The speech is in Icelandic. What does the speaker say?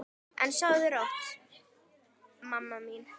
En sofðu rótt, mamma mín.